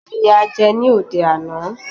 Iyán ni a jẹ ní òde àná.